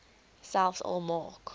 selfs al maak